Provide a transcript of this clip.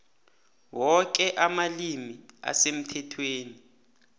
woke amalimi asemthethweni